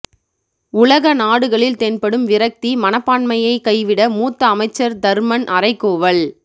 உலக நாடுகளில் தென்படும் விரக்தி மனப்பான்மையைக் கைவிட மூத்த அமைச்சர் தர்மன் அறைகூவல்